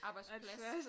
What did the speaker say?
Arbejdsplads